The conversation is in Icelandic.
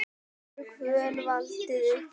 getur hvönn valdið uppblæstri